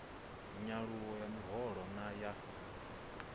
nyaluwo ya miholo na ya